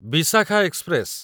Vishakha express